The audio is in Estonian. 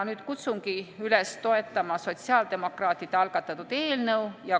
Kutsungi üles toetama sotsiaaldemokraatide algatatud eelnõu.